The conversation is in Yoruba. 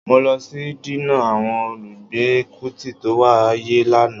Mó lọ sí dínà àwọn olùgbé Kútì tó wáyé lánàá